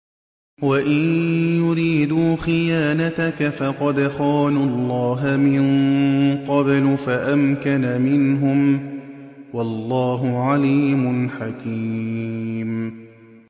وَإِن يُرِيدُوا خِيَانَتَكَ فَقَدْ خَانُوا اللَّهَ مِن قَبْلُ فَأَمْكَنَ مِنْهُمْ ۗ وَاللَّهُ عَلِيمٌ حَكِيمٌ